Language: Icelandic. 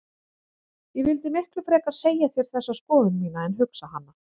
Ég vildi miklu frekar segja þér þessa skoðun mína en hugsa hana.